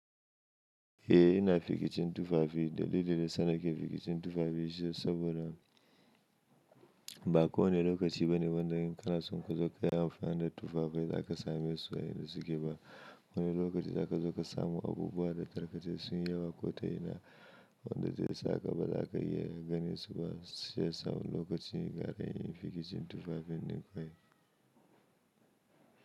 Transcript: Eh ina fikicin tufafi dalilin da yana ke fikicin tufafi shine saboda ba kowane lokaci bane wanda in kana son ka zo ka yi amfani da tufafai za ka same su yadda suke ba. Wani lokaci za ka zo ka samu abubuwa da tarkace sun yi yawa ko ta ina wanda zai saka ba za ka iya ganin su ba sai samun lokaci gari in fikicin tufafin ne kawai.